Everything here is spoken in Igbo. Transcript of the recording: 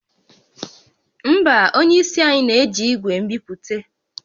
Mba, onye isi anyị na-eji igwe nbipute